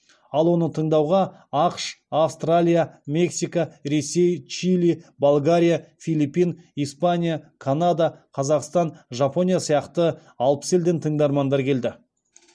ал оны тыңдауға ақш австралия мексика ресей чили болгария филиппин испания канада қазақстан жапония сияқты алпыс елден тыңдармандар келді